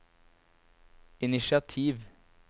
initiativ